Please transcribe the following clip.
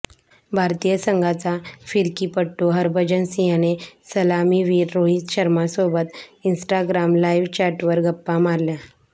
भारतीय संघाचा फिरकीपटू हरभजन सिंहने सलामीवीर रोहित शर्मासोबत इन्स्टाग्राम लाईव्ह चॅटवर गप्पा मारल्या